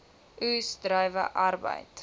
oes druiwe arbeid